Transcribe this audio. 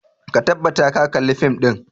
Ka tabbata ka kalla fim ɗin!